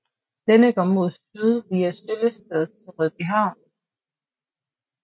Denne går mod syd via Søllested til Rødbyhavn